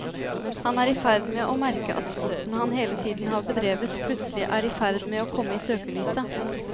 Han er i ferd med å merke at sporten han hele tiden har bedrevet, plutselig er i ferd med å komme i søkelyset.